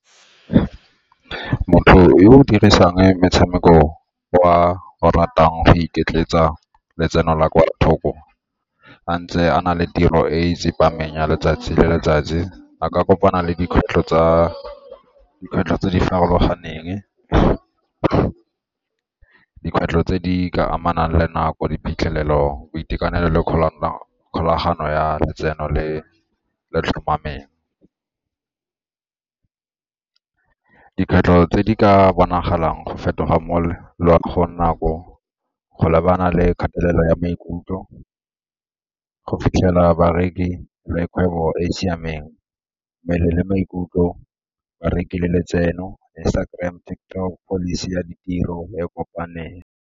Motho yo o dirisang metshameko o a o ratang go iketletsa letseno la kwa thoko a ntse a na le tiro e e tsepameng ya letsatsi le letsatsi a ka kopana le dikgwetlho tse di farologaneng, dikgwetlho tse di ka amanang le nako, diphitlhelelo, boitekanelo le kgolagano ya letseno le le tlhomameng. Dikgwetlho tse di ka bonagalang go fetoga nako go lebana le kgatelelo ya maikutlo, go fitlhela bareki le kgwebo e e siameng, mmele le maikutlo bareki le letseno, Instagram, TikTok, pholisi ya ditiro e e kopaneng.